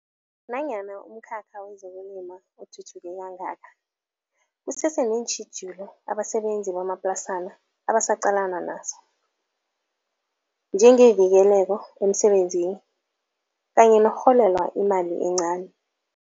Nanyana umkhakha wezokulima uthuthuke kangaka, kusese neentjhijilo abasebenzi bamaplasana abasaqalana nazo. Njengevikeleko emsebenzini kanye nokurholelwa imali encani.